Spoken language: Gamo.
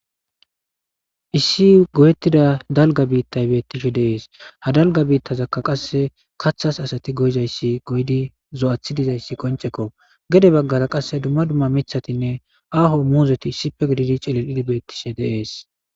Issi godettida dalga biittay bettishe deees hadalga biittazakka qasse kathas asati goyzayssi goydi zo'athi dizayssi qoncekko gede baggara qasse dumma dumma mithatinne aaho muuzeti issife gididi celil idbeettishe deees.